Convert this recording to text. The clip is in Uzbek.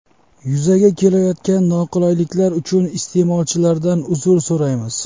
Yuzaga kelayotgan noqulayliklar uchun iste’molchilardan uzr so‘raymiz.